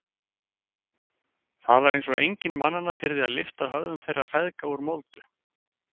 Það var eins og enginn mannanna þyrði að lyfta höfðum þeirra feðga úr moldu.